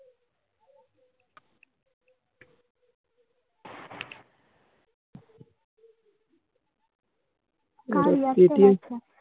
paytm